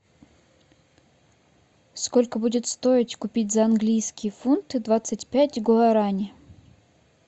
сколько будет стоить купить за английские фунты двадцать пять гуарани